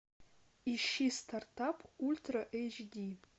ищи стартап ультра эйч ди